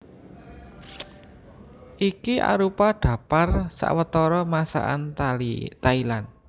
Iki arupa dhaptar sawetara Masakan Thailand